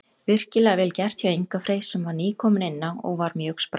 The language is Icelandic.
Virkilega vel gert hjá Inga Frey sem að var nýkominn inná og var mjög sprækur.